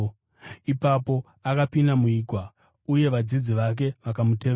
Ipapo akapinda muigwa uye vadzidzi vake vakamutevera.